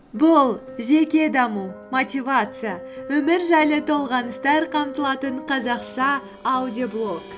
бұл жеке даму мотивация өмір жайлы толғаныстар қамтылатын қазақша аудиоблог